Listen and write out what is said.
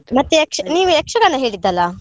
ಮತ್ತೆ ಯಕ್ಷ್~ ಯಕ್ಷಗಾನ ಹೇಳಿದಲ್ಲ?